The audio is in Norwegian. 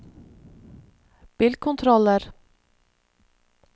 bilkontroller